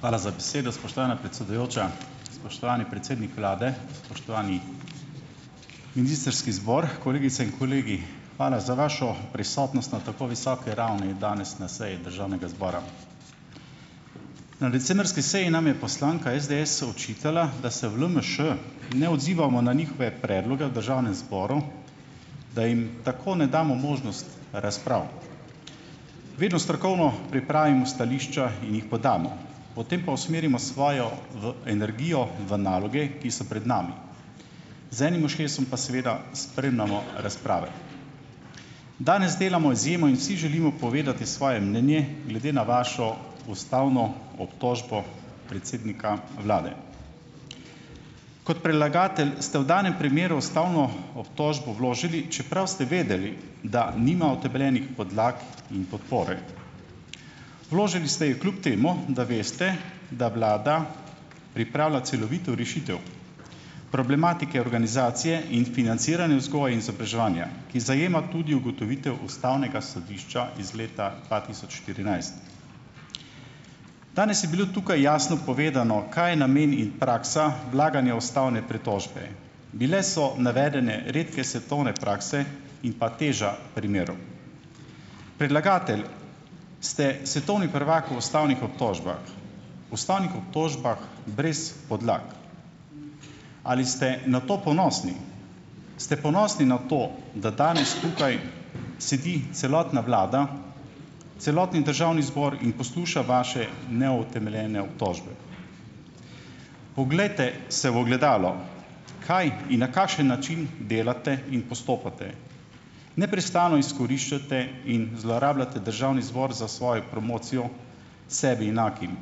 Hvala za besedo, spoštovana predsedujoča. Spoštovani predsednik vlade, spoštovani ministrski zbor, kolegice in kolegi. Hvala za vašo prisotnost na tako visoki ravni danes na seji državnega zbora. Na decembrski seji nam je poslanka SDS očitala, da se v LMŠ ne odzivamo na njihove predloge v državnem zboru, da jim tako ne damo možnost razprav. Vedno strokovno pripravimo stališča in jih podamo, potem pa usmerimo svojo v energijo v naloge, ki so pred nami, z enim ušesom pa seveda spremljamo razprave. Danes delamo izjemo in vsi želimo povedati svoje mnenje glede na vašo ustavno obtožbo predsednika vlade. Kot predlagatelj ste v danem primeru ustavno obtožbo vložili, čeprav ste vedeli, da nima utemeljenih podlag in podpore. Vložili ste jo kljub temu, da veste, da vlada pripravlja celovito rešitev problematike organizacije in financiranja vzgoje in izobraževanja, ki zajema tudi ugotovitev ustavnega sodišča iz leta dva tisoč štirinajst. Danes je bilo tukaj jasno povedano, kaj je namen in praksa vlaganja ustavne pritožbe. Bile so navedene redke svetovne prakse in pa teža primerov. Predlagatelj ste svetovni prvak v ustavnih obtožbah, ustavnih obtožbah brez podlag. Ali ste na to ponosni? Ste ponosni na to, da danes tukaj sedi celotna vlada, celotni državni zbor in posluša vaše neutemeljene obtožbe? Poglejte se v ogledalo. Kaj in na kakšen način delate in postopate? Neprestano izkoriščate in zlorabljate državni zbor za svojo promocijo sebi enakim.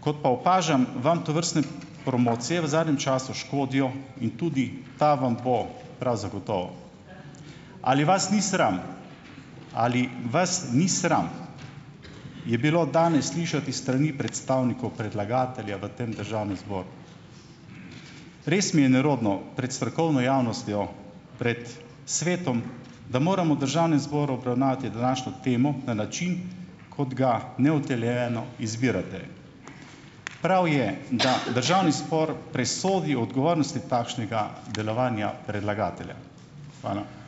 Kot pa opažam, vam tovrstne promocije v zadnjem času škodijo in tudi ta vam bo prav zagotovo. Ali vas ni sram? Ali vas ni sram, je bilo danes slišati s strani predstavnikov predlagatelja v tem državnem zboru. Res mi je nerodno, pred strokovno javnostjo, pred svetom, da moram v državnem zboru obravnavati današnjo temo na način, kot ga neutemeljeno izbirate. Prav je, da državni zbor presodi o odgovornosti takšnega delovanja predlagatelja. Hvala.